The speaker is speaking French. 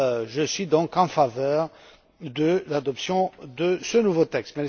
Je suis donc en faveur de l'adoption de ce nouveau texte.